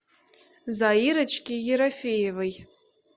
заирочке ерофеевой